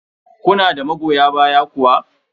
Kuna da magoya baya kuwa?